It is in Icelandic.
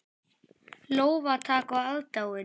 Lófatak og aðdáun.